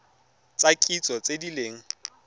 tsa kitso tse di leng